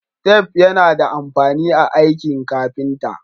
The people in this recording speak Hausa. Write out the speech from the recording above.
Tef yAna da amfani a aiki carpenter